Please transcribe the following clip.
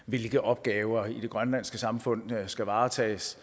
hvilke opgaver i det grønlandske samfund der skal varetages